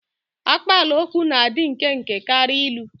Akpaalaokwu na-adị nkenke karịa ilu.